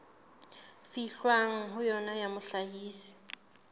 fihlwang ho yona ya mohlahisi